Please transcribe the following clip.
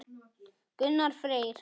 Gunnar Freyr.